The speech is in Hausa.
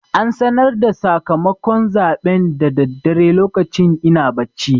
An sanar da sakamakon zaɓen da daddare lokacin ina bacci.